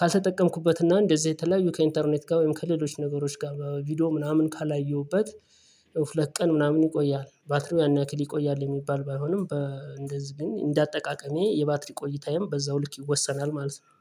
ካልተጠቀምኩበትና እንደዚህ የተለያዩ ከኢንተርኔት ጋር ወይም ከሌሎች ነገሮች ጋር በቪዲዮ ምናምን ካላየሁበት። ሁለት ቀን ምናምን ይቆያል ባትሪው ያን ያክል ይቆያል የሚባል ባይሆንም በእንደዚህ ግን እንደ አጠቃቀሜ የባትሪ ቆይታዬም በዛው ልክ ይወሰናል ማለት ነው